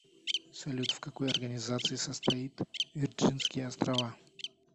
салют в какой организации состоит вирджинские острова